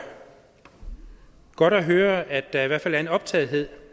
godt at høre at der i hvert fald er en optagethed